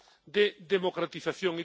de democratización.